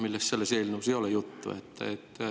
Nendest selles eelnõus juttu ei ole.